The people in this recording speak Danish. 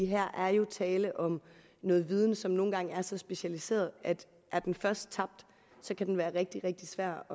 her er jo tale om noget viden som nogle gange er så specialiseret at er den først tabt kan den være rigtig rigtig svær